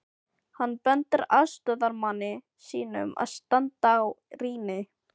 Hann bendir aðstoðarmanni sínum að standa á rýni.